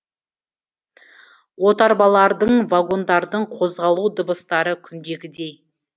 отарбалардың вагондардың қозғалу дыбыстары күндегідей